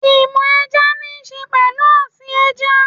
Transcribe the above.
Ìmọ̀ ẹja níṣe pẹ̀lú ọ̀sìn ẹja